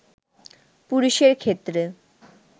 পুরুষের ক্ষেত্রে